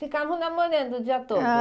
Ficavam namorando de à toa?